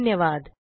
धन्यवाद